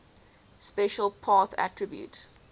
special path attribute